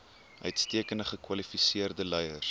uitstekend gekwalifiseerde leiers